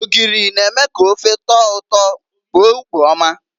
Ogiri na-eme ka ofe tọọ ụtọ kpoo ukpo ọma.